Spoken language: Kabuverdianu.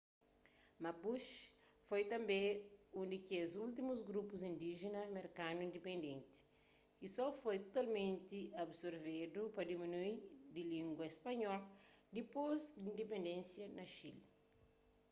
mapuche foi tanbê un di kes últimus grupu indíjena merkanu indipendenti ki so foi totalmenti absorvedu pa dumíniu di língua spanhol dipôs di indipendensia na xile